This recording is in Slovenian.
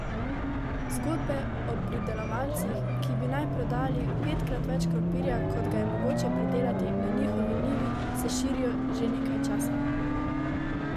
Zgodbe o pridelovalcih, ki bi naj prodali petkrat več krompirja kot ga je mogoče pridelati na njihovi njivi, se širijo že nekaj časa.